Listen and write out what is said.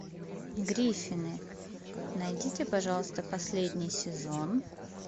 гриффины найдите пожалуйста последний сезон